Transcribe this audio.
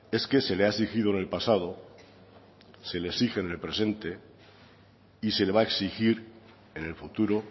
es que se le ha exigido en el pasado se le exige en el presente y se le va a exigir en el futuro